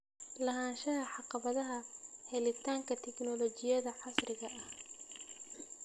Lahaanshaha caqabadaha helitaanka tignoolajiyada casriga ah.